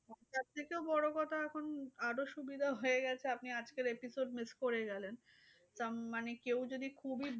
তার থেকেও বড় কথা এখন আরও সুবিধা হয়ে গেছে। আপনি আজকের episode miss করে গেলেন। তা মানে কেউ যদি খুবই